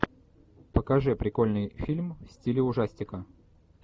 покажи прикольный фильм в стиле ужастика